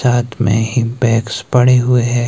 साथ में हिंपैक्स पड़े हुए है।